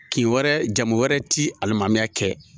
Kin wɛrɛ, jamu wɛrɛ ti alimamiya kɛ.